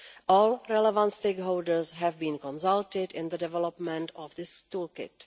All relevant stakeholders have been consulted in the development of this toolkit.